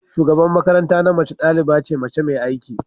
shugaban makaranta na mace daliba ce mace mai aiki